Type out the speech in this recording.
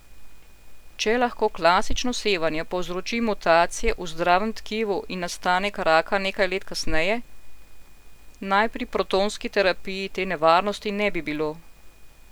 Če lahko klasično sevanje povzroči mutacije v zdravem tkivu in nastanek raka nekaj let kasneje, naj pri protonski terapiji te nevarnosti ne bi bilo.